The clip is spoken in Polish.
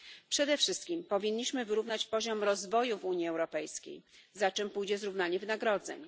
Przede wszystkim powinniśmy wyrównać poziom rozwoju w Unii Europejskiej, za czym pójdzie zrównanie wynagrodzeń.